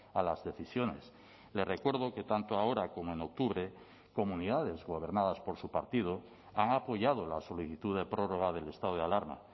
a las decisiones le recuerdo que tanto ahora como en octubre comunidades gobernadas por su partido han apoyado la solicitud de prórroga del estado de alarma